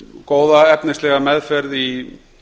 góða efnislega meðferð í